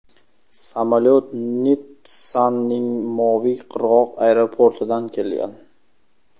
Samolyot Nitssaning Moviy qirg‘oq aeroportidan kelgan.